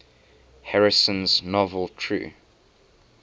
harrison's novel true